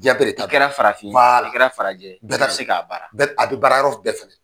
Jiɲɛ bɛɛ de ta do, i kɛra farafin ye, i kɛra farajɛ ye, bɛɛ se k'a baara a bɛ baara yɔrɔ bɛɛ fɛnɛ.